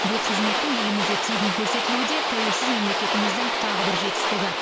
бұл қызметтің елімізде тегін көрсетілуі де тәуелсіз мемлекетіміздің тағы бір жетістігі